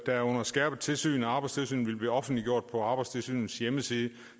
der er under skærpet tilsyn af arbejdstilsynet vil blive offentliggjort på arbejdstilsynets hjemmeside